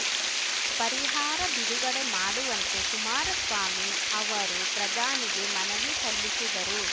ಪರಿಹಾರ ಬಿಡುಗಡೆ ಮಾಡುವಂತೆ ಕುಮಾರಸ್ವಾಮಿ ಅವರು ಪ್ರಧಾನಿಗೆ ಮನವಿ ಸಲ್ಲಿಸಿದರು